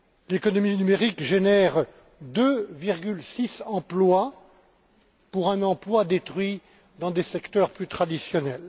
L'économie numérique génère 2,6 emplois pour un emploi détruit dans des secteurs plus traditionnels.